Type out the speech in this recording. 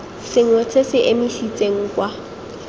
sengwe se se emisitseng kwa